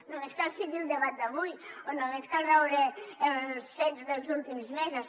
només cal seguir el debat d’avui o només cal veure els fets dels últims mesos